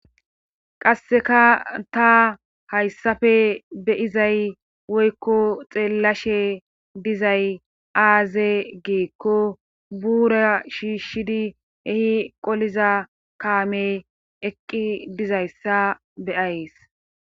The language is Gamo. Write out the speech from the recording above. qasseka ta hayssafe beyizay woykko xeellashe dizay aaze geekko buura shiishshidi ehi qoliza kaame eqqi dizayssa beyayes